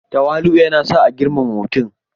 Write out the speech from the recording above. Tawali'u yana sa a girmama mutum.